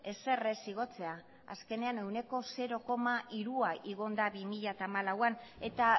ezer ez igotzea azkenean ehuneko zero koma hirua igo da bi mila hamalauan eta